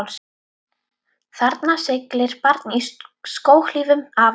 Þarna siglir barn í skóhlífum afa síns.